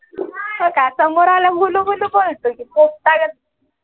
हो का समोर आला कि गुलू गुलू बोलतो पोपटागत